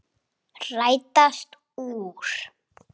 Rætast úr?